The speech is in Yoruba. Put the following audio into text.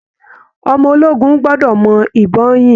Ọmọ ológun gbọ́dọ̀ mọ ìbọn yìn